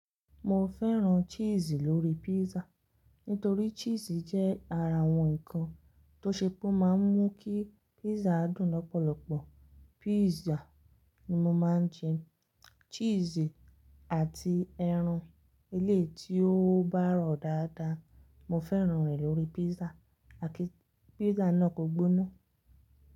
Mo fẹ́ran cheese lórí pizza nítorí cheese jẹ́ ara àwọn ǹkan tó ṣe pé ó máa ń mú kí pizza dùn lọ́pọ̀lọpọ̀. Pizza ni mo máa ń jẹ, cheese àti ẹran elé ti ó bá rọ̀ dáadáa, mo fẹ́ràn rẹ̀ lórí pizza àti pizza náà kò gbóná.